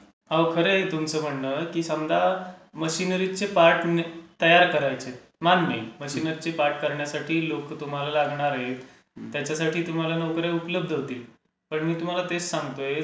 अहो, खरं आहे तुमचं म्हणणं की समजा मशीनरीचे पार्ट तयार करायचे आहेत, मान्य आहे. मशीनरीचे पार्ट करण्यासाठी लोकं तुम्हाला लागणार आहेत. त्याच्यासाठी तुम्हाला नोकर् या उपलब्ध होतील. पण मी तुम्हाला तेच सांगतोय,